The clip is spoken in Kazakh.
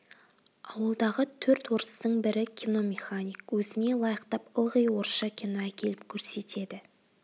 ауылдағы төрт орыстың бірі киномеханик өзіне лайықтап ылғи орысша кино әкеліп көрсетеді